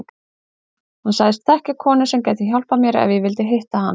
Hún sagðist þekkja konu sem gæti hjálpað mér ef ég vildi hitta hana.